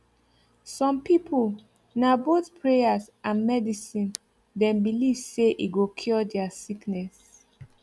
some people na both prayers and medicine them belief saye go cure there sickness